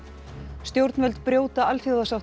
stjórnvöld brjóta alþjóðasáttmála